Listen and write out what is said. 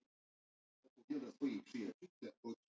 Annars var þetta ekki neitt, rólegur leikur.